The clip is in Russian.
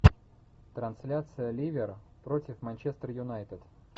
трансляция ливер против манчестер юнайтед